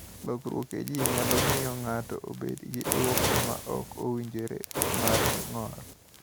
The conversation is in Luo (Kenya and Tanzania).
Lokiruok e gene nyalo miyo ng’ato obed gi dwoko ma ok owinjore mar ng’ol.